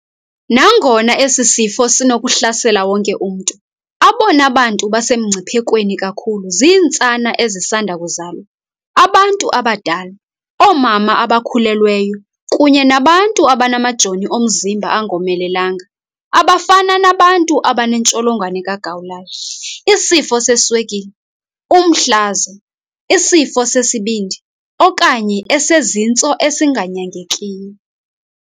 Nangona esi sifo sinokuhlasela wonke umntu, abona bantu basemngciphekweni kakhulu zintsana ezisanda kuzalwa, abantu abadala, oomama abakhulelweyo kunye nabantu abanamajoni omzimba angomelelanga abafana nabantu abaneNtsholongwane kaGawulayo, isifo seswekile, umhlaza, isifo sesibindi okanye esezintso esinganyangekiyo.